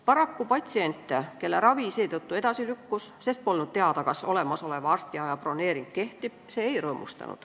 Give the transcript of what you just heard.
Paraku ei rõõmustanud see patsiente, kelle ravi seetõttu edasi lükkus, sest polnud teada, kas olemasoleva arstiaja broneering kehtib.